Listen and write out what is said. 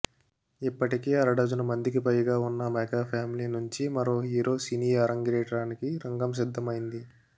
ఇప్పటికే అరడజను మందికి పైగా ఉన్న మెగా ఫ్యామిలీ నుంచి మరో హీరో సినీ ఆరంగేట్రానికి రంగం సిద్ధమైంది